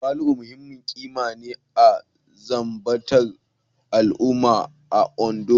Tawali'u muhimmin ƙima ne na zamantakewar al'umma a Ondo